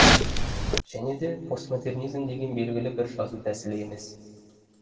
және де постмодернизм деген белгілі бір жазу тәсілі емес